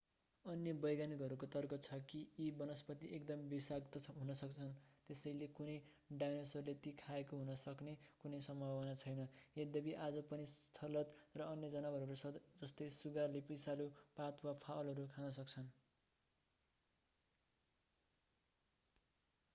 अन्य वैज्ञानिकहरूको तर्क छ कि यी वनस्पति एकदम विषाक्त हुन्छन् त्यसैले कुनै डायनोसरले ती खाएको हुन सक्ने कुनै सम्भावना छैन यद्यपि आज पनि स्लथ र अन्य जनावरहरू जस्तै सुगा डायनोसोरको एक वंशज ले विषालु पात वा फलहरू खान सक्छन्।